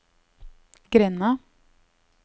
grenda